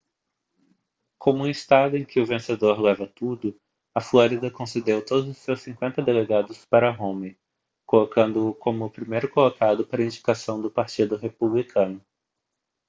como um estado em que o vencedor leva tudo a flórida concedeu todos os seus cinquenta delegados para romney colocando-o como o primeiro colocado para a indicação do partido republicano